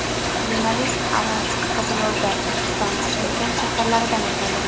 Yo‘nalish Aralsk, Qizilo‘rda, Turkiston, Shimkent shaharlaridan o‘tadi.